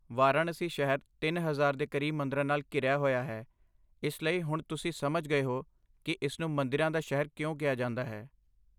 ਵਾਰਾਣਸੀ ਸ਼ਹਿਰ ਤਿਨ ਹਜ਼ਾਰ ਦੇ ਕਰੀਬ ਮੰਦਰਾਂ ਨਾਲ ਘਿਰਿਆ ਹੋਇਆ ਹੈ, ਇਸ ਲਈ ਹੁਣ ਤੁਸੀਂ ਸਮਝ ਗਏ ਹੋ ਕੀ ਇਸਨੂੰ 'ਮੰਦਿਰਾਂ ਦਾ ਸ਼ਹਿਰ' ਕਿਉਂ ਕਿਹਾ ਜਾਂਦਾ ਹੈ